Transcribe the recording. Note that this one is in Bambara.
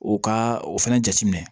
U ka o fɛnɛ jateminɛ